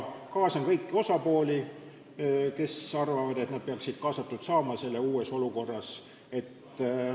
Kaasan kõiki osapooli, kes arvavad, et nad peaksid saama selles uues olukorras kaasatud.